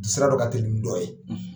Sira dɔ ka telin ni dɔn ye.